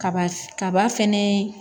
Kaba kaba fɛnɛ